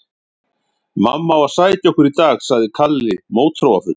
Mamma á að sækja okkur í dag, sagði Kalli mótþróafullur.